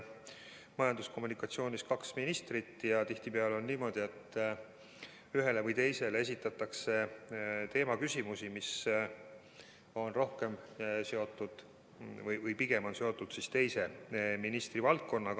Majandus- ja Kommunikatsiooniministeeriumis on kaks ministrit ja tihtipeale on niimoodi, et ühele või teisele esitatakse küsimusi, mis on seotud pigem teise ministri valdkonnaga.